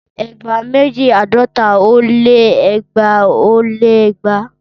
Ẹgba meji àádọ́ta ó lé ẹgbaa ó lé igba.